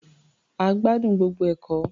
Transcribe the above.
A gbádùn gbogbo ẹ̀kọ́.